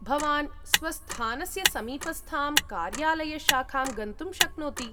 भवान् स्वस्थानस्य समीपस्थां कार्यालयशाखां गन्तुं शक्नोति।